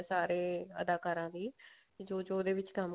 ਸਾਰੇ ਅਦਾਕਾਰਾਂ ਦੀ ਜੋ ਜੋ ਉਹਦੇ ਵਿੱਚ ਕੰਮ